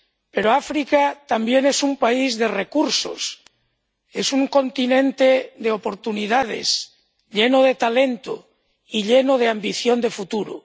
Pero África también es un país de recursos, es un continente de oportunidades, lleno de talento y lleno de ambición de futuro.